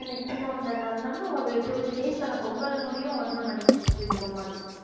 இப்பயும் two three days தானே பொங்கல் முடியும் வந்துருன்னு நினைக்கிறேன் குக் வித் கோமாளி